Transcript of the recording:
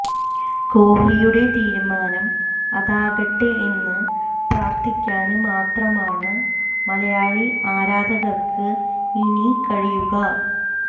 കോഹ്ലിയുടെ തീരുമാനം അതാകട്ടെ എന്ന് പ്രാര്ത്ഥിക്കാന് മാത്രമാണ് മലയാളി ആരാധകര്ക്ക് ഇനി കഴിയുക